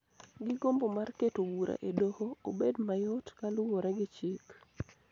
gi gombo mar keto bura e doho obed mayot kaluwore gi chik